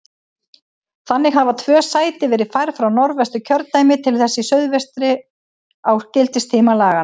Þannig hafa tvö sæti verið færð frá Norðvesturkjördæmi til þess í suðvestri á gildistíma laganna.